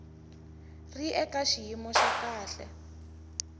ri eka xiyimo xa kahle